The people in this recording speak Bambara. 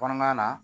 Kɔɔnaman na